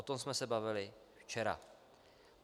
O tom jsme se bavili včera.